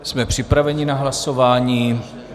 Jsme připraveni na hlasování.